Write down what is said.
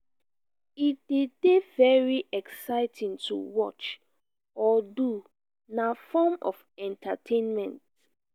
e de dey very exciting to watch or do na form of entertainment